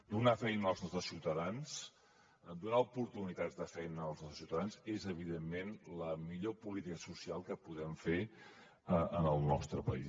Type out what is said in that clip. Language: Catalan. donar feina als nostres ciutadans donar oportunitats de feina als nostres ciutadans és evidentment la millor política social que podem fer en el nostre país